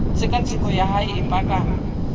tshekatsheko ya hae e paka